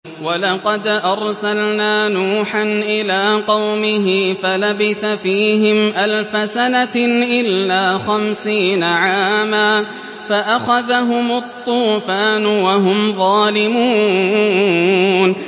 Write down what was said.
وَلَقَدْ أَرْسَلْنَا نُوحًا إِلَىٰ قَوْمِهِ فَلَبِثَ فِيهِمْ أَلْفَ سَنَةٍ إِلَّا خَمْسِينَ عَامًا فَأَخَذَهُمُ الطُّوفَانُ وَهُمْ ظَالِمُونَ